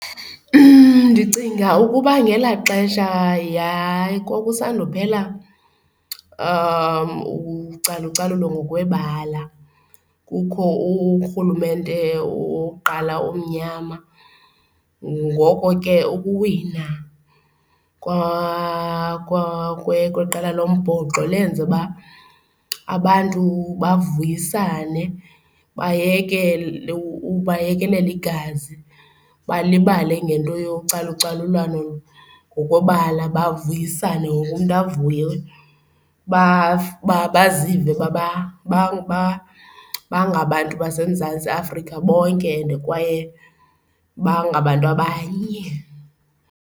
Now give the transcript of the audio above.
Ndicinga ukuba ngelaa xesha kwakusando kuphela ucalucalulo ngokwebala kukho urhulumente wokuqala omnyama. Ngoko ke ukuwina kweqela lombhoxo lenze uba abantu bavuyisane bayekele bayekelele igazi, balibale ngento yocalucalulwano ngokwebala bavuyisane, wonke umntu avuye bazive bangabantu baseMzantsi Afrika bonke and kwaye bangabantu abanye.